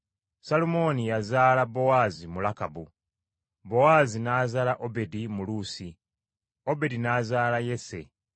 Salumooni yazaala Bowaazi mu Lakabu, Bowaazi n’azaala Obedi mu Luusi. Obedi n’azaala Yese.